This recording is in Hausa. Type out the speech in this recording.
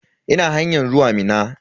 Ina hanyan zuwa Minna.